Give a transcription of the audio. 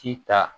Ci ta